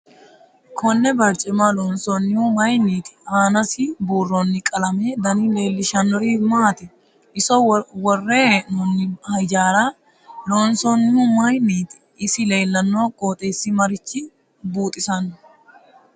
Konne barcima loonsoonihu mayiiniti aanasi buurooni qalamete dani leelishannori maati iso worre hee'nooni hijaara loonsoonihu mayiiniti isi leelanno qoxeesi maricho buuxisanno